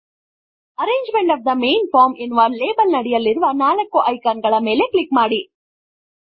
arrangement of the main form ಎನ್ನುವ label ನಡಿಯಲ್ಲಿರುವ 4 icon ಗಳ ಮೇಲೆ ಕ್ಲಿಕ್ ಮಾಡಿ